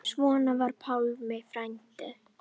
Svona var Pálmar frændi minn.